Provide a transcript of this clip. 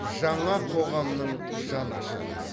жаңа қоғамның жанашыры